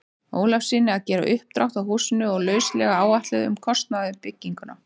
Ólafssyni að gera uppdrátt að húsinu og lauslega áætlun um kostnað við bygginguna.